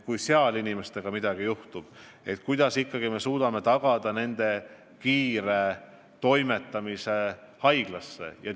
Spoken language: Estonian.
Kui seal inimestega midagi juhtub, kuidas me suudame tagada nende kiire toimetamise haiglasse?